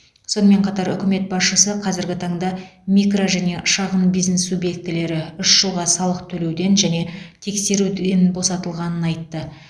сонымен қатар үкімет басшысы қазіргі таңда микро және шағын бизнес субъектілері үш жылға салық төлеуден және тексеруден босатылғанын айтты